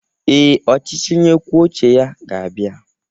Ee, ọchịchị onye kwuo uche ga-abịa.